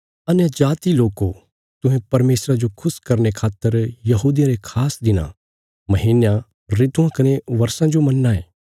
अन्यजाति लोको तुहें परमेशरा जो खुश करने खातर यहूदियां रे खास दिनां महीनयां ऋतुआं कने बर्षां जो मन्नां ये